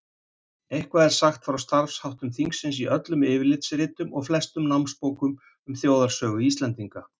Eitthvað er sagt frá starfsháttum þingsins í öllum yfirlitsritum og flestum námsbókum um þjóðarsögu Íslendinga.